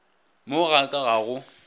mo ga ka ga go